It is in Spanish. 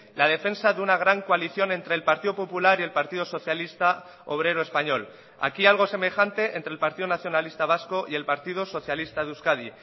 la defensa de una gran coalición entre el partido popular y el partido socialista obrero español aquí algo semejante entre el partido nacionalista vasco y el partido socialista de euskadi